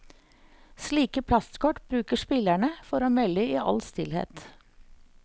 Slike plastkort bruker spillerne for å melde i all stillhet.